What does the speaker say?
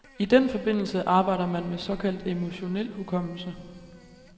I den forbindelse arbejder man med såkaldt emotionel hukommelse.